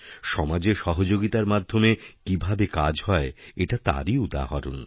সমাজে সহযোগিতার মাধ্যমে কীভাবে কাজহয় এটা তারই উদাহরণ